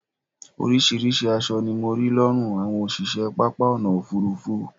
oríṣiríṣi aṣọ ni mo rí lọ́rùn àwọn òṣìṣẹ́ pápá ọ̀nà òfurufú